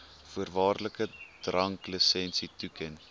voorwaardelike dranklisensie toeken